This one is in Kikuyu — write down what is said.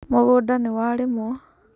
Mũgũnda nĩwarĩmũo.